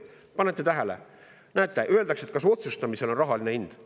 Kas te panete tähele, et näete, kas otsustamisel on rahaline hind?